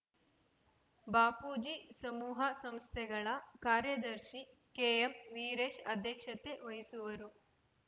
ಬಾಪೂಜಿ ಸಮೂಹ ಸಂಸ್ಥೆಗಳ ಕಾರ್ಯದರ್ಶಿ ಕೆಎಂ ವೀರೇಶ್‌ ಅಧ್ಯಕ್ಷತೆ ವಹಿಸುವರು